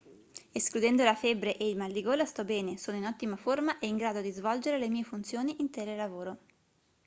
escludendo la febbre e il mal di gola sto bene sono in ottima forma e in grado di svolgere le mie funzioni in telelavoro